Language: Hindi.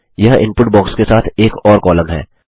यह इनपुट बॉक्स के साथ एक और कॉलम है